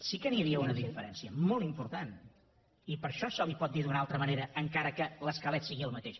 sí que n’hi havia una de diferència molt important i per això se li pot dir d’una altra manera encara que l’esquelet sigui el mateix